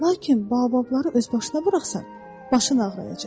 Lakin bababları özbaşına buraxsan, başın ağrıyacaq.